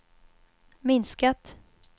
minskat